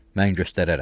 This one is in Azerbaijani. Mən göstərərəm.